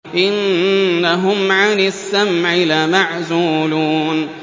إِنَّهُمْ عَنِ السَّمْعِ لَمَعْزُولُونَ